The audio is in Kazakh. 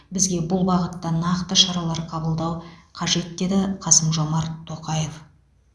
бізге бұл бағытта нақты шаралар қабылдау қажет деді қасым жомарт тоқаев